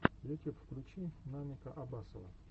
ютюб включи намика абасова